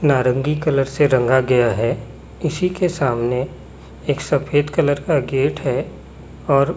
नारंगी कलर से रंगा गया है इसी के सामने एक सफेद कलर का गेट है और--